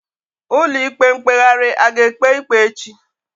Ụlọ ikpe mkpeghari a ga ekpe ikpe echi?